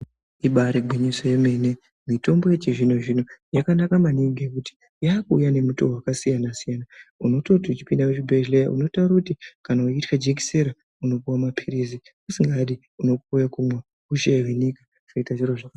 Ibari gwinyiso remene mutombo yechizvino zvino yakanaka maningi ngekuti yakuuya nemutoo yakasiyana siyana unototi uchipinda muchibhehlera unotaura kuti kana uchicha jikiseni wopuwa mapirizi usingadi unopuwa wekumwa zvioita zviri zvakanaka.